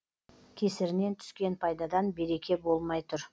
кесірінен түскен пайдадан береке болмай тұр